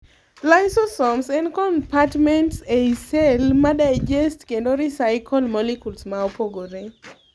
Lysosomes en compartments ei cell ma digest kendo recycle molecules maa opogore